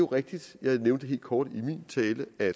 rigtigt jeg nævnte det helt kort i min tale at